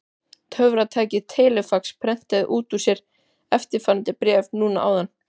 Töfratækið telefax prentaði út úr sér eftirfarandi bréf núna áðan.